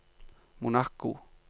Monaco